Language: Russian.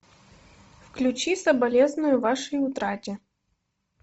включи соболезную вашей утрате